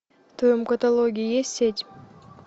в твоем каталоге есть сеть